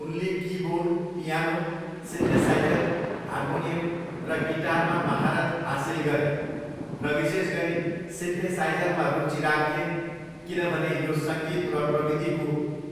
उनले keyboard, piano, synthesiser, harmonium र गिटारमा महारत हासिल गरे, र विशेष गरी सिन्थेसाइज़रमा रुचि राख्थे किनभने यो 'सङ्गीत र प्रविधिको